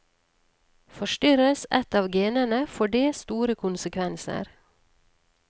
Forstyrres ett av genene, får det store konsekvenser.